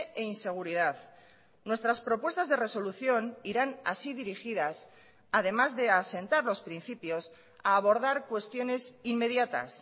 e inseguridad nuestras propuestas de resolución irán así dirigidas además de a asentar los principios a abordar cuestiones inmediatas